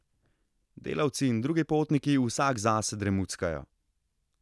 Delavci in drugi potniki vsak zase dremuckajo.